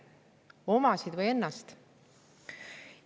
Kas omasid või ennast?